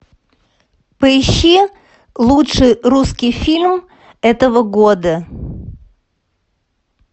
поищи лучший русский фильм этого года